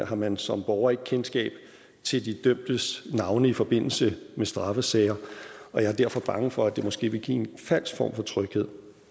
har man som borger ikke kendskab til de dømtes navne i forbindelse med straffesager og jeg er derfor bange for at det måske vil give en falsk form for tryghed